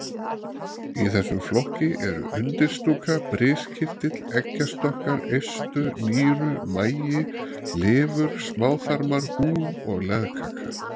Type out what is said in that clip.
Í þessum flokki eru undirstúka, briskirtill, eggjastokkar, eistu, nýru, magi, lifur, smáþarmar, húð og legkaka.